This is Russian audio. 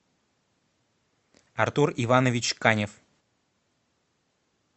артур иванович канев